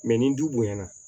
ni du bonya na